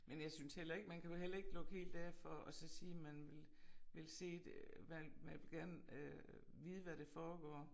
Men jeg synes heller ikke man kan jo heller ikke lukke helt af for at så sige man vil vil se det hvad hvad gerne øh vide hvad det foregår